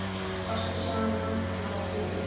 Fastir sama margir í.